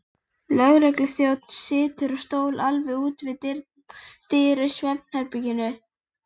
Að stofnun þess stóðu foreldrar heyrnardaufra barna.